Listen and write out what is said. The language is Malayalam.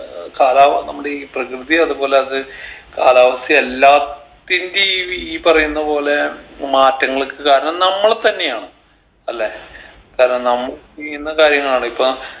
ഏർ കാലാ നമ്മടെ ഈ പ്രകൃതിയെ അതുപോലെ അത് കാലാവസ്ഥയു അല്ലാത്തിന്റേം ഈ പറയുന്ന പോലെ മാറ്റങ്ങൾക്ക് കാരണം നമ്മളെ തന്നെയാണ് അല്ലേ കാരണം നമ്മൾ ചെയ്യുന്ന കാര്യങ്ങളാണ് ഇപ്പോ